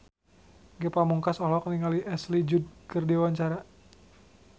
Ge Pamungkas olohok ningali Ashley Judd keur diwawancara